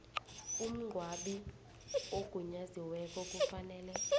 umngcwabi ogunyaziweko kufanele